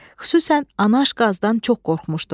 Xüsusən anaş qazdan çox qorxmuşdu.